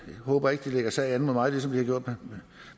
håber ikke de lægger sag an mod mig ligesom de har gjort